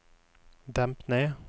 demp ned